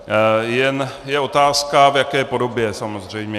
Jen je otázka, v jaké podobě samozřejmě.